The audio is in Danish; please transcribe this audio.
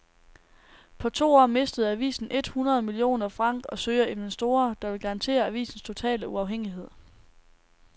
På to år mistede avisen et hundrede millioner franc og søger investorer, der vil garantere avisens totale uafhængighed.